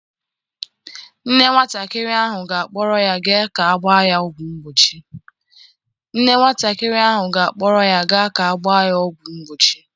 Nne nwatakịrị ahụ ga-akpọrọ ya gaa ka a gbaa ya ọgwụ mgbochi.